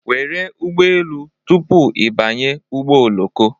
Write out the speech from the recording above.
Were ụgbọ elu tupu ị banye ụgbọ oloko